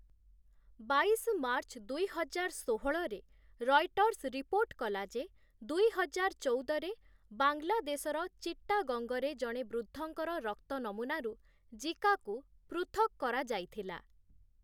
ବାଇଶ ମାର୍ଚ୍ଚ ଦୁଇହଜାର ଷୋହଳରେ, 'ରଏଟର୍ସ୍' ରିପୋର୍ଟ କଲା ଯେ ଦୁଇହଜାର ଚଉଦରେ, ବାଂଲାଦେଶର ଚିଟ୍ଟାଗଙ୍ଗରେ ଜଣେ ବୃଦ୍ଧଙ୍କର ରକ୍ତ ନମୁନାରୁ ଜିକାକୁ ପୃଥକ୍ କରାଯାଇଥିଲା ।